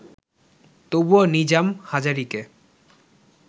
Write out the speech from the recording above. তবুও নিজাম হাজারীকে